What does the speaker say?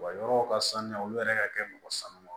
Wa yɔrɔ ka sanuya olu yɛrɛ ka kɛ mɔgɔ sanuya